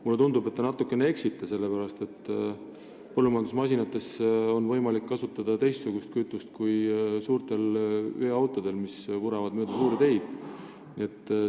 Mulle tundub, et te natukene eksite, sellepärast et põllumajandusmasinates on võimalik kasutada teistsugust kütust kui suurtes veoautodes, mis mööda suuri teid vuravad.